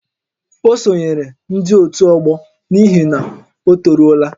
Ọ sonyeere ndị ótù ọgbọ n'ihi na ọ toruola ya